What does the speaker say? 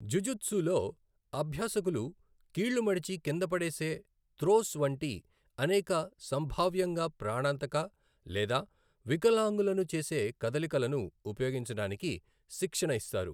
జుజుత్సులో, అభ్యాసకులు కీళ్లు మడిచి కింద పడేసే త్రోస్ వంటి అనేక సంభావ్యంగా ప్రాణాంతక లేదా వికలాంగులను చేసే కదలికలను ఉపయోగించడానికి శిక్షణ ఇస్తారు.